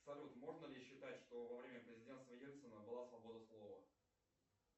салют можно ли считать что во время президентства ельцина была свобода слова